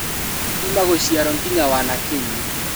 Kuuma gũciarwo ngĩnya wanake-inĩ